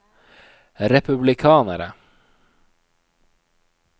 republikanere